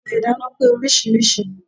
Ọ̀bẹ ìdáná pé oríṣiríṣi.